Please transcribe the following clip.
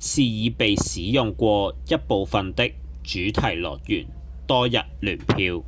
是已被使用過一部分的主題樂園多日聯票